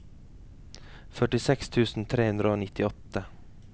førtiseks tusen tre hundre og nittiåtte